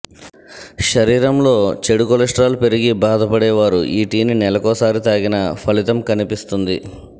శరీరంలో చెడు కొలెస్ట్రాల్ పెరిగి బాధపడే వారు ఈ టీని నెలకోసారి తాగినా ఫలితం కనిపిస్తుంది